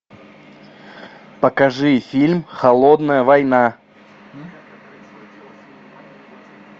покажи фильм холодная война